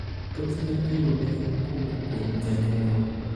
Thoth ne iyude kowuok kuom janyuol.